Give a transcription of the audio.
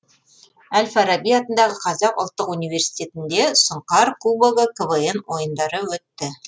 әл фараби атындағы қазақ ұлттық университетінде сұңқар кубогы квн ойындары өтті